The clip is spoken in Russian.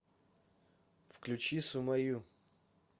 включи суммаю